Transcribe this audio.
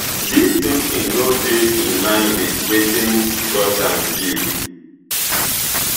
dis thinking no dey in line wit wetin russian view